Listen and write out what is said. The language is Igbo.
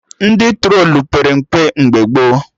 Ndị trolu pere mpe mgbe gboo